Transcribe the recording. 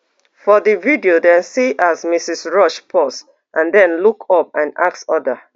for di video dem see as mrs rush pause and den look up and ask oda